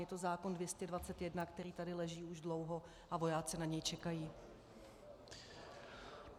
Je to zákon 221, který tady leží už dlouho a vojáci na něj čekají.